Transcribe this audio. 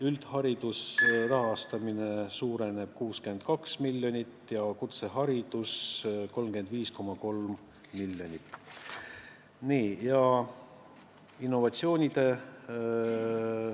Üldhariduse rahastamine suureneb 62 miljonit ja kutseharidus 35,3 miljonit.